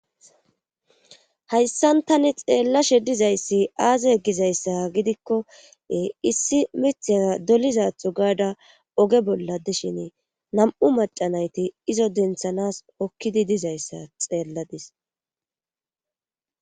hayssan tani xeellashe dizayssi aaze gizayssa gidikkoe issi mithaa dolizatho gaada oge bolla dishin nam7u macanayti izo denthanas hokkidi dizayssa xeelladis